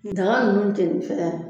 Daga nunnu jenini fɛ yan